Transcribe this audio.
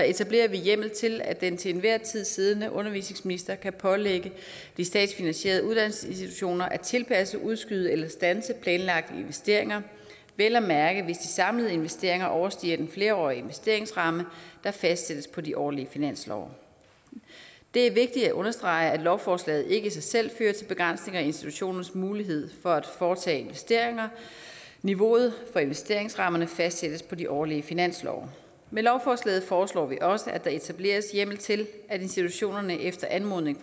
etablerer vi hjemmel til at den til enhver tid siddende undervisningsminister kan pålægge de statsfinansierede uddannelsesinstitutioner at tilpasse udskyde eller standse planlagte investeringer vel at mærke hvis de samlede investeringer overstiger den flerårige investeringsramme der fastsættes på de årlige finanslove det er vigtigt at understrege at lovforslaget ikke i sig selv fører til begrænsning i institutionernes mulighed for at foretage investeringer niveauet for investeringsrammerne fastsættes på de årlige finanslove med lovforslaget foreslår vi også at der etableres hjemmel til at institutionerne efter anmodning